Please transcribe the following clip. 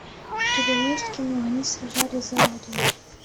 у тебя есть кино они сражались за родину